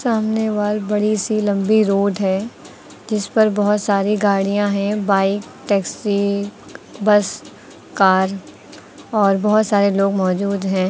सामने वाल बड़ी सी लंबी रोड है जिस पर बहोत सारी गाड़ियां हैं बाइक टैक्सी बस कार और बहोत सारे लोग मौजूद हैं।